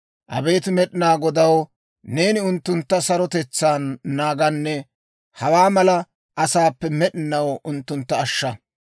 Abeet Med'inaa Godaw, neeni unttuntta sarotetsaan naaganne hawaa mala asaappe med'inaw unttuntta ashsha.